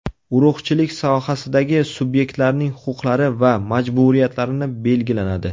Urug‘chilik sohasidagi subyektlarning huquqlari va majburiyatlarini belgilanadi.